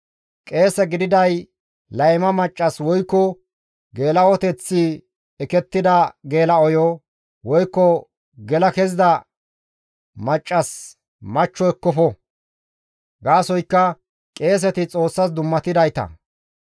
« ‹Qeese gididaadey layma maccas woykko geela7oteththi ekettida geela7oyo woykko gela kezida maccas machcho ekkofo; gaasoykka qeeseti Xoossas dummatidayta;